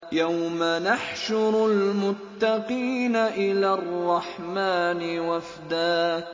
يَوْمَ نَحْشُرُ الْمُتَّقِينَ إِلَى الرَّحْمَٰنِ وَفْدًا